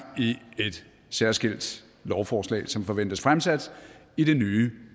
i et særskilt lovforslag som forventes fremsat i det nye